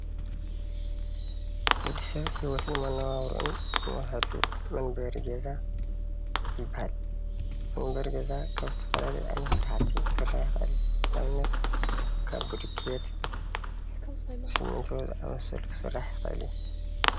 ወድሰብ ሂወቱን መነባብሩኢን ዝመርሐሉ መንበሪ ገዛ ይበሃል። መንበሪ ገዛ ካብ ዝተፈላለዩ ዓይነት ስራሕቲ ክስራሕ ይክእል ንኣብነት ካብ ብሎኬት፥ ስሚንቶ ዝኣመሰሉ ክስራሕ ይክእል እዩ።